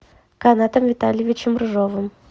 канатом витальевичем рыжовым